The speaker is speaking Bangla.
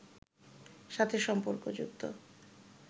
সাথে সম্পর্ক যুক্ত